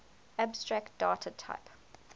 abstract data type